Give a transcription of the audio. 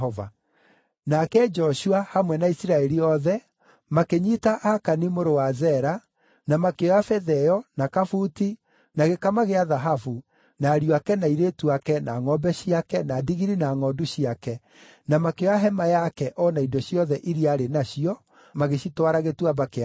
Nake Joshua, hamwe na Isiraeli othe, makĩnyiita Akani mũrũ wa Zera, na makĩoya betha ĩyo, na kabuti, na gĩkama gĩa thahabu, na ariũ ake na airĩtu ake, na ngʼombe ciake, na ndigiri na ngʼondu ciake, na makĩoya hema yake o na indo ciothe iria arĩ nacio, magĩcitwara Gĩtuamba kĩa Akori.